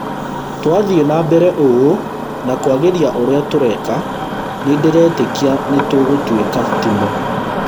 Twathiĩ na mbere ũũ na kwagĩria ũrĩa tũreka, nĩndĩretĩkia nĩtũgũtuĩka timũ